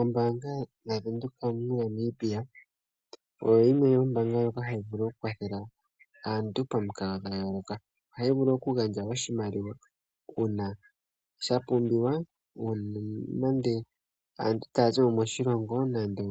Ombaanga yaVenduka mo Namibia oyo yimwe yomoombanga ndjoka hayi vulu oku kwathela aantu pamukalo dha yooloka. Ohaya vulu okugandja oshimaliwa uuna sha pumbiwa uuna nande aantu taya zimo moshilongo nande